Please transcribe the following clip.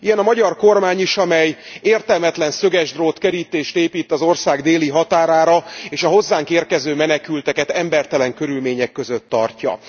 Ilyen a magyar kormány is, amely értelmetlen szögesdrótkerítést épít az ország déli határára, és a hozzánk érkező menekülteket embertelen körülmények között tartja.